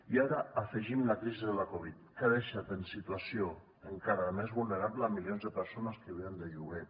i ara hi afegim la crisi de la covid que ha deixat en situació encara més vulnerable milions de persones que viuen de lloguer